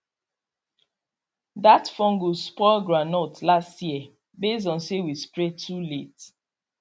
that fungus spoil groundnut last year base on say we spray too late